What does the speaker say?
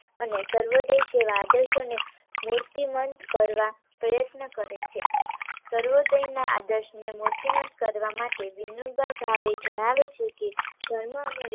અને સર્વોદય જેવા આદર્શોને મૂર્તિમાન કરવા પ્રયત્નો કરે છે. સર્વોદય ના આદર્શને મૂર્તિમાન કરવા માટે વિનોબા ભાવે જણાવે છે કે, ધર્મ અને વિજ્ઞા